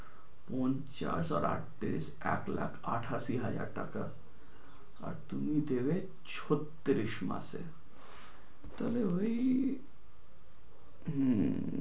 পঞ্চাশ আর আটত্রিশ এক লাখ আটাশি হাজার টাকা তুমি দেবে ছত্রিশ মাসে। তাহলে হয়ে গেল হম